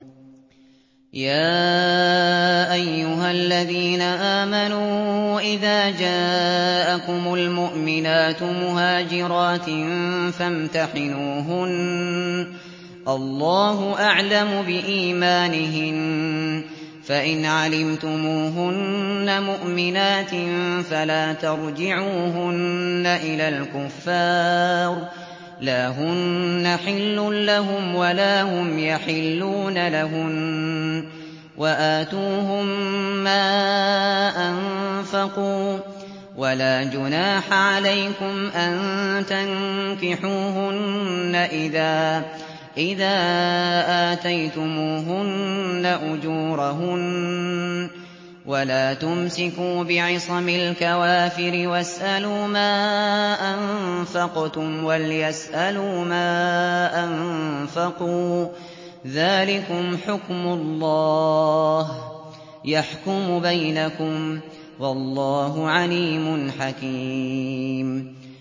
يَا أَيُّهَا الَّذِينَ آمَنُوا إِذَا جَاءَكُمُ الْمُؤْمِنَاتُ مُهَاجِرَاتٍ فَامْتَحِنُوهُنَّ ۖ اللَّهُ أَعْلَمُ بِإِيمَانِهِنَّ ۖ فَإِنْ عَلِمْتُمُوهُنَّ مُؤْمِنَاتٍ فَلَا تَرْجِعُوهُنَّ إِلَى الْكُفَّارِ ۖ لَا هُنَّ حِلٌّ لَّهُمْ وَلَا هُمْ يَحِلُّونَ لَهُنَّ ۖ وَآتُوهُم مَّا أَنفَقُوا ۚ وَلَا جُنَاحَ عَلَيْكُمْ أَن تَنكِحُوهُنَّ إِذَا آتَيْتُمُوهُنَّ أُجُورَهُنَّ ۚ وَلَا تُمْسِكُوا بِعِصَمِ الْكَوَافِرِ وَاسْأَلُوا مَا أَنفَقْتُمْ وَلْيَسْأَلُوا مَا أَنفَقُوا ۚ ذَٰلِكُمْ حُكْمُ اللَّهِ ۖ يَحْكُمُ بَيْنَكُمْ ۚ وَاللَّهُ عَلِيمٌ حَكِيمٌ